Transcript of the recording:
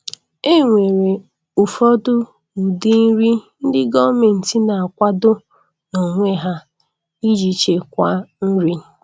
E nwere ụfọdụ ụdị nri ndị gọọmentị na-akwado n'onwe ha iji chekwaa nri